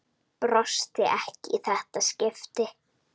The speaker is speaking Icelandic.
Brosti ekki í þetta skipti.